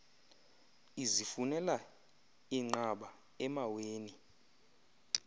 izifunela inqaba emaweni